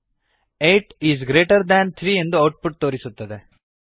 eight is greater than three ಎಂದು output ತೋರಿಸುತ್ತದೆ